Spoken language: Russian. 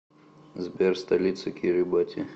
сбер столица кирибати